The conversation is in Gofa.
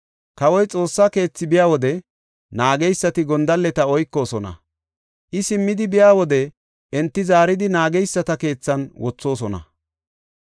Kawoy Xoossa keethi biya wode naageysati gondalleta oykoosona; I simmidi biya wode enti zaaridi naageysata keethan wothoosona.